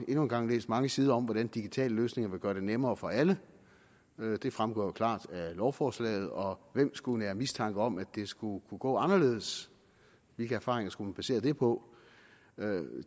en gang læst mange sider om hvordan digitale løsninger vil gøre det nemmere for alle det fremgår jo klart af lovforslaget og hvem skulle nære mistanke om at det skulle kunne gå anderledes hvilke erfaringer skulle man basere det på